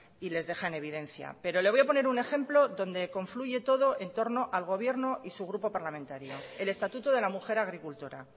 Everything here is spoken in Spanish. y les deja en evidencia pero le voy a poner un ejemplo donde confluye todo en torno al gobierno y su grupo parlamentario el estatuto de la mujer agricultora